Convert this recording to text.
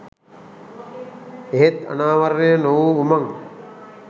එහෙත් අනාවරණය නොවූ උමං